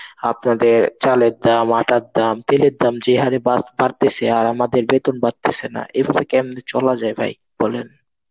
আপনাদের চালের দাম আটার দাম, তেলের দাম যে হারে বাড়~ বাড়তেছে আর আমাদের বেতন বাড়তেছে না. এভাবে কেমনে চলা যায় ভাই বলেন.